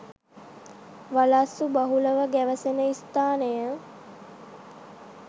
වලස්සු බහුලව ගැවසෙන ස්ථාන